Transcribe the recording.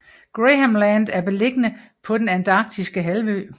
Graham Land er beliggende på den Antarktiske halvø